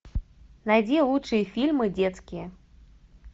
найди лучшие фильмы детские